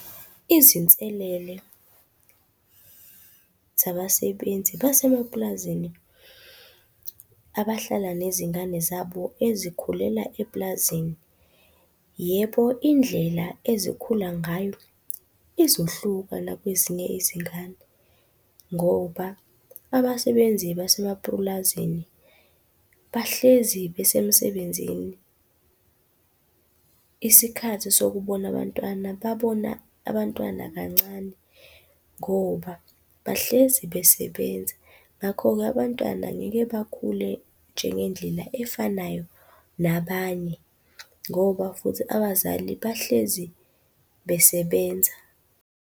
Izinselele zabasebenzi basemapulazini abahlala nezingane zabo ezikhulela epulazini. Yebo indlela ezikhula ngayo izohluka la kwezinye izingane, ngoba abasebenzi basemapulazini bahlezi besemsebenzini. Isikhathi sokubona abantwana, babona abantwana kancane ngoba bahlezi besebenza. Ngakho-ke abantwana ngeke bakhule njengendlela efanayo nabanye ngoba futhi abazali bahlezi besebenza.